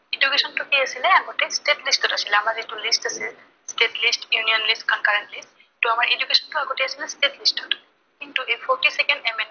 education টো কি আছিলে আগতে, state list ত আছিলে, আমাৰ যিটো lists আছে state list, union list, concurrent list । ত আমাৰ education টো আগতে আছিলে state list ত। কিন্তু forty second amendment